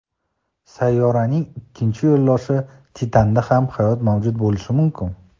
Sayyoraning ikkinchi yo‘ldoshi Titanda ham hayot mavjud bo‘lishi mumkin.